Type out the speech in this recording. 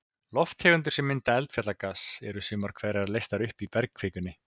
Lofttegundir sem mynda eldfjallagas, eru sumar hverjar leystar upp í bergkvikunni.